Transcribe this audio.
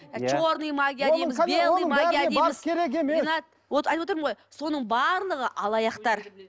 ы черный магия дейміз айтып отырмын ғой соның барлығы алаяқтар